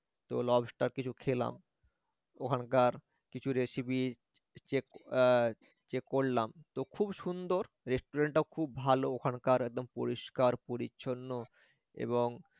lobstar কিছু খেলাম ওখানকার কিছু recipe check এ check করলাম তো দেখতে খুব সুন্দর restaurant টা খুব ভালো পরিষ্কার-পরিচ্ছন্ন ও